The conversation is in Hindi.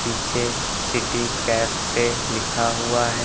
पीछे सिटी कैफे लिखा हुआ है।